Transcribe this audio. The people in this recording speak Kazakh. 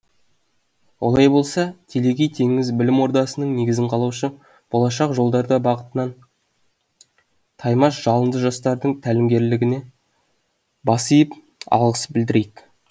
олай болса телегей теңіз білім ордасының негізін қалаушы болашақ жолдарда бағытынан таймас жалынды жастардың тәлімгерлігіне бас иіп алғыс білдірейік